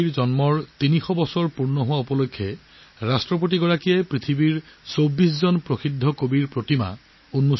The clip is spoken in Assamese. এই উপলক্ষে তুৰ্কমেনিস্তানৰ ৰাষ্টপতিয়ে বিশ্বৰ ২৪জন বিখ্যাত কবিৰ মূৰ্তি উন্মোচন কৰে